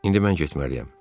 İndi mən getməliyəm.